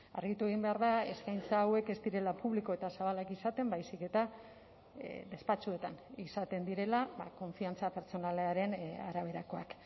argitu egin behar da eskaintza hauek ez direla publiko eta zabalak izaten baizik eta despatxuetan izaten direla konfiantza pertsonalaren araberakoak